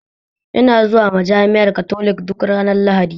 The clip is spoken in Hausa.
Ina zuwa majami'ar katolik duk ranar lahadi?